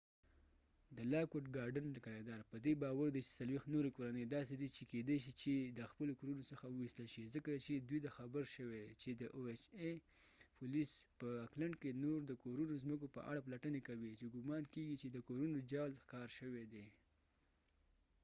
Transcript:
د لاک وډ ګارډن کرایه دار په دي باور دي چې 40 نوری کورنۍ داسې دي چې کېدای شي چې د خپلو کورونو څخه وويستل شي. ځکه چې دوي ته خبر شوي چې د او ایچ ای ohaپولیس په اکلند oacklandکې نور د کورونو څمکو په اړه پلټنی کوي چې ګمان کېږی چې د کورونو د جعل ښکار شوي دي